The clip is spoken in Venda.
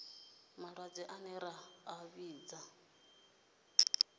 malwadze ane ra a vhidza